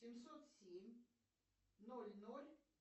семьсот семь ноль ноль